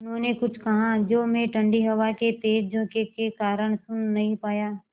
उन्होंने कुछ कहा जो मैं ठण्डी हवा के तेज़ झोंके के कारण सुन नहीं पाया